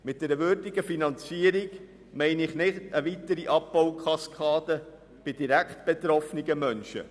Mit einer würdigen Finanzierung meine ich nicht eine weitere Abbaukaskade bei direkt betroffenen Menschen.